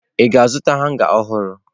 Ị ga-azụta hanga ọhụrụ?